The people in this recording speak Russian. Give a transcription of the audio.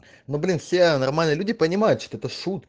ну блин все нормальные люди понимают что это шут